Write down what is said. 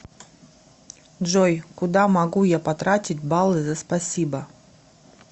джой куда могу я потратить баллы за спасибо